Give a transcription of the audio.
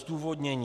Zdůvodnění.